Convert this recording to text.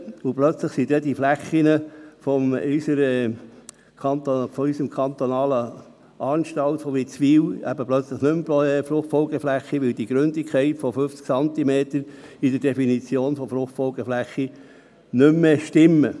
Deshalb sind die Böden unserer kantonalen Justizvollzugsanstalt Witzwil plötzlich nicht mehr Fruchtfolgeflächen, weil die Gründigkeit von 50 Zentimetern nicht mehr mit der Definition von Fruchtfolgeflächen übereinstimmt.